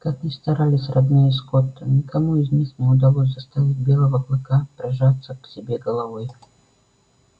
как ни старались родные скотта никому из них не удалось заставить белого клыка прижаться к себе головой